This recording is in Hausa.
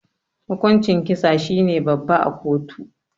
Hukuncin kisa shine babba a kotu.